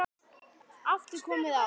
aftur komið á.